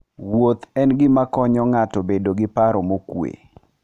Wuoth en gima konyo ng'ato bedo gi paro mokuwe.